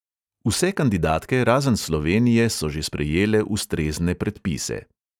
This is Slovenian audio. Vse kandidatke, razen slovenije, so že sprejele ustrezne predpise.